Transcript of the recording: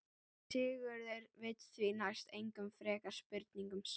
Sigurður vill því næst engum frekari spurningum svara.